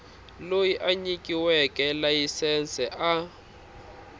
loyi a nyikiweke layisense a